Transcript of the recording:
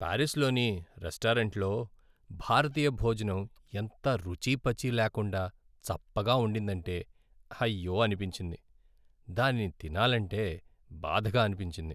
పారిస్లోని రెస్టారెంట్లో భారతీయ భోజనం ఎంత రుచీపచీ లేకుండా చప్పగా ఉండిందంటే, అయ్యో అనిపించింది. దానిని తినాలంటే బాధగా అనిపించింది.